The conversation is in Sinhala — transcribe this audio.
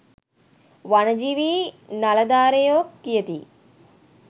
වනජීවී නලධරයෝ කියති